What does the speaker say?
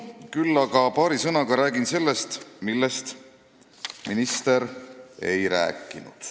Küll aga räägin paari sõnaga sellest, millest minister ei rääkinud.